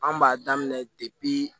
An b'a daminɛ depi